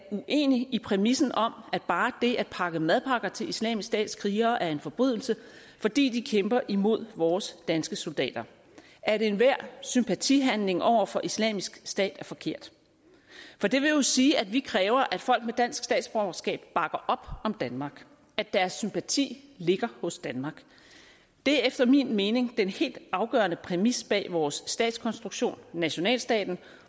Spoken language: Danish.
uenig i præmissen om at bare det at pakke madpakker til islamisk stats krigere er en forbrydelse fordi de kæmper imod vores danske soldater at enhver sympatihandling over for islamisk stat er forkert for det vil jo sige at vi kræver at folk med dansk statsborgerskab bakker op om danmark at deres sympati ligger hos danmark det er efter min mening den helt afgørende præmis bag vores statskonstruktion nationalstaten